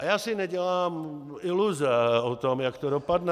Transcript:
A já si nedělám iluze o tom, jak to dopadne.